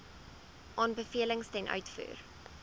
aanbevelings ten uitvoer